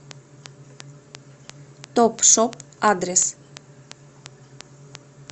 топшоп адрес